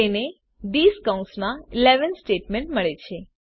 તેને થિસ કૌંસમાં 11 સ્ટેટમેંટ મળે છે